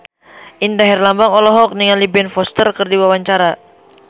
Indra Herlambang olohok ningali Ben Foster keur diwawancara